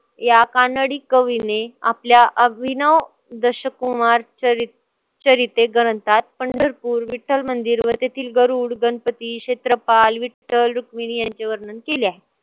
या कानडी कवीने आपल्या अभिनव दशकुमारच्या ग्रंथात पंढरपूर, विठ्ठल मंदिर व तेथील गरुड, गणपती, क्षेत्रापाल, विठ्ठल, रुक्मिणी यांचे वर्णन केले आहे.